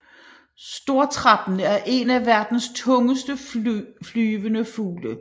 Stortrappen er en af verdens tungeste flyvende fugle